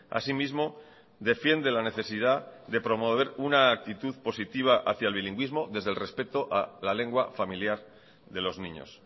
así mismo defiende la necesidad de promover una actitud positiva hacia el bilingüismo desde el respeto a la lengua familiar de los niños